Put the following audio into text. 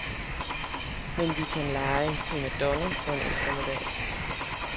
Men vi kan lege primadonna for en eftermiddag.